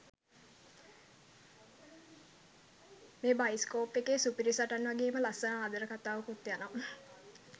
මේ බයිස්කෝප් එකෙ සුපිරි සටන් වගේම ලස්සන ආදර කතාවකුත් යනවා.